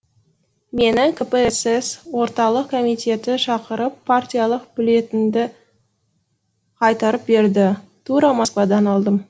мені кпсс орталық комитеті шақырып партиялық билетімді қайтарып берді тура москвадан алдым